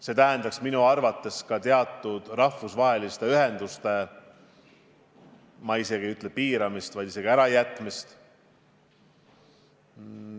See tähendaks minu arvates ka teatud rahvusvaheliste ühenduste, ma isegi ei ütle, et piiramist, vaid lausa ärajätmist.